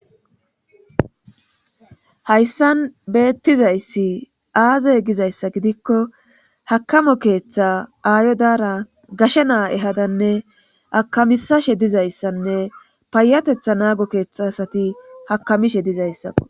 hayssan beettizayssi aaze gizayssa gidikko hakamo keeththa aayo daara gashe naa ehadanne akamisashe dizayssanne paayatetha naago keeththa asati hakamishe dizayssaqo